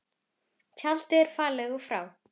Tjaldið er fallið og frá.